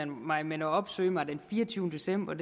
mig men at opsøge mig den fireogtyvende december